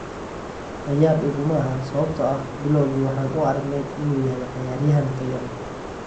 La yaab iguma ahan sababtoo ah bilowgii waxaan u aragnay inuu yahay ciyaaryahan tayo leh.